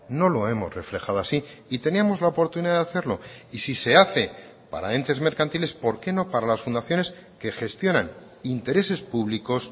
no lo hemos reflejado así y teníamos la oportunidad de hacerlo y si se hace para entes mercantiles por qué no para las fundaciones que gestionan intereses públicos